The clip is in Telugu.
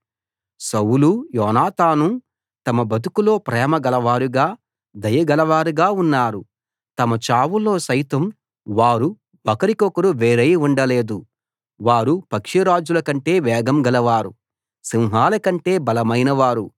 సౌలూ యోనాతానూ తమ బతుకులో ప్రేమ గలవారుగా దయ గలవారుగా ఉన్నారు తమ చావులో సైతం వారు ఒకరికొకరికి వేరై ఉండలేదు వారు పక్షిరాజుల కంటే వేగం గలవారు సింహాలకంటే బలమైన వారు